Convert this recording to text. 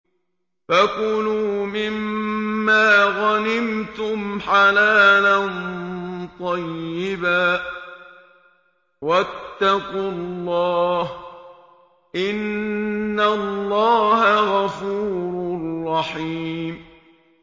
فَكُلُوا مِمَّا غَنِمْتُمْ حَلَالًا طَيِّبًا ۚ وَاتَّقُوا اللَّهَ ۚ إِنَّ اللَّهَ غَفُورٌ رَّحِيمٌ